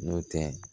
N'o tɛ